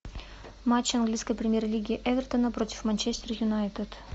матч английской премьер лиги эвертона против манчестер юнайтед